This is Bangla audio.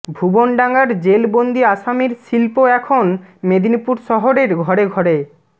ভুবনডাঙার জেলবন্দি আসামীর শিল্প এখন মেদিনীপুর শহরের ঘরে ঘরে